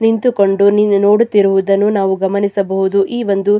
ನಿಂತುಕೊಂಡು ನೀರು ನೋಡುತ್ತಿರುವುದನ್ನು ನಾವು ಗಮನಿಸಬಹುದು ಈ ಒಂದು --